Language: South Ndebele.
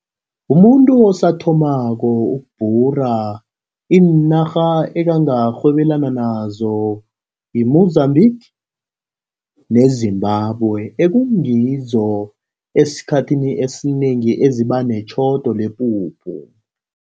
Umuntu osathomako ukubhura, iinarha angarhwebelana nazo yi-Mozambique neZimbabwe, ekungizo esikhathini esinengi eziba netjhodo lepuphu.